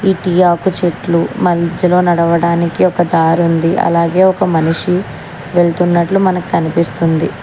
ఈ టీయాకు చెట్లు మంజలో నడవడానికి ఒక దారుంది అలాగే ఒక మనిషి వెళుతున్నట్లు మనకు కనిపిస్తుంది.